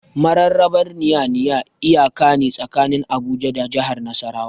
Mararraba Nya-Nya iyaka ne tsakanin Abuja da jahar Nasarawa.